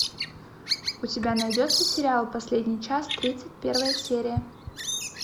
у тебя найдется сериал последний час тридцать первая серия